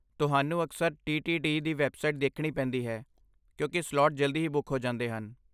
ਤੁਹਾਨੂੰ ਅਕਸਰ ਟੀਟੀਡੀ ਦੀ ਵੈੱਬਸਾਈਟ ਦੇਖਣੀ ਪੈਂਦੀ ਹੈ, ਕਿਉਂਕਿ ਸਲਾਟ ਜਲਦੀ ਹੀ ਬੁੱਕ ਹੋ ਜਾਂਦੇ ਹਨ।